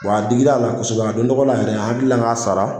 Wa a digira la kosɛbɛ a don tɔgɔ la yɛrɛ an hakilila k'a sara.